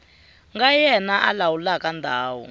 nga yena a lawulaka ndhawu